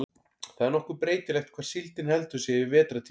það er nokkuð breytilegt hvar síldin heldur sig yfir vetrartímann